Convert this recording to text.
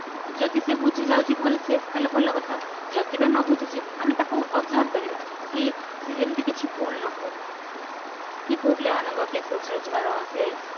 ଯଦି ସେ ବୁଝି ଯାଉଛି ଭଲ ସେ ତାହାଲେ ଭଲ କଥା ଯଦି ବା ନବୁଝିଛି ଆମେ ତାକୁ observe କରିବା କି ସେ ଯେମିତି କିଛି ଭୁଲ ନ କରୁ କି ପୁଅପିଲା ମାନଙ୍କ cases ରେ ଯାହାର ସିଏ